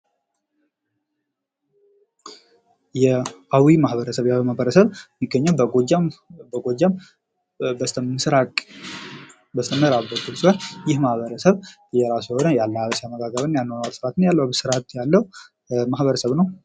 አዊ ማህበረስብ በጎጃም በስተምስራቅ በስተምራብ የሚገኝ ሲሆን የራሱ የሆነ የአለባበስ ፣ የአመጋገብ ስርዓት ያለው ማህበርሰብ ነው።